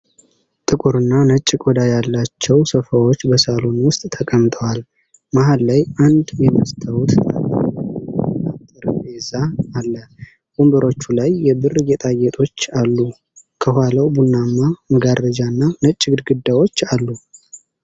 ጥቁርና ነጭ ቆዳ ያላቸው ሶፋዎች በሳሎን ውስጥ ተቀምጠዋል። መሃል ላይ አንድ የመስታወት ጣሪያ ያለው የቡና ጠረጴዛ አለ። ወንበሮቹ ላይ የብር ጌጣጌጦች አሉ። ከኋላው ቡናማ መጋረጃና ነጭ ግድግዳዎች አሉ።